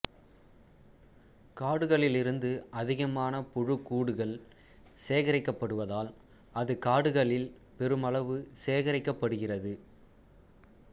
காடுகளிலிருந்து அதிகமான புழுக்கூடுகள் சேகரிக்கப்படுவதால் அது காடுகளில் பெருமளவு சேகரிக்கப்படுகிறது